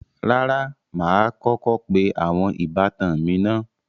Rárá, mà á kọ́kọ́ pe àwọn ìbátan mi naá